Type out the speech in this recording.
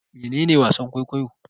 Mene ne wasan-kwaikwayo?